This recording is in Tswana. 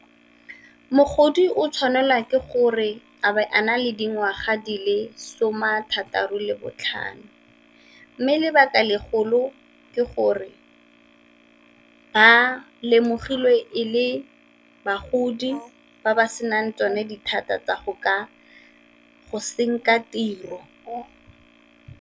Mogodi o tshwanelwa ke gore a ba a na le dingwaga di le some a thataro le botlhano, mme lebaka legolo ke gore ba lemogilwe e le bagodi ba ba senang tsone dithata tsa go ka go senka tiro.